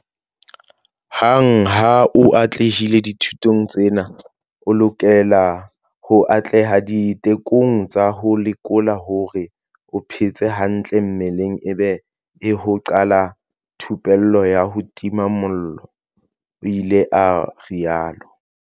Hang ha o atlehile dithutong tsena o lokela ho atleha ditekong tsa ho lekola hore o phetse hantle mmeleng ebe he ho qala thupello ya ho tima mollo, o ile a rialo.